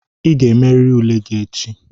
Ị ga-emerịrị ule gị echi!